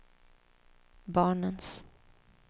barnens